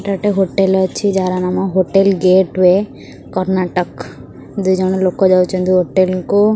ଏଇଟା ଗୋଟେ ହୋଟେଲ ଅଛି ଯାହାର ନାମ ହୋଟେଲ ଗେଟୱେ କର୍ଣ୍ଣାଟକ ଦୁଇଜଣ ଲୋକ ଯାଉଛନ୍ତି ହୋଟେଲ କୁ --